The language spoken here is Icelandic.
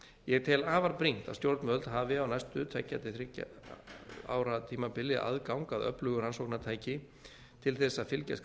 ég tel afar brýnt að stjórnvöld hafi á næstu tveggja til þriggja ára tímabili aðgang að öflugu rannsóknartæki til þess að fylgjast grannt